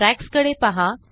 ट्रयाक्सकडे पहा